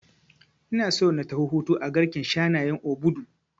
Ina so na tafi hutu a garken shanayen Obudu